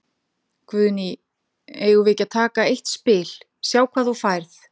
Guðný: Eigum við ekki að taka eitt spil, sjá hvað þú færð?